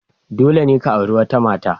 Dole ne ka auri wata mata.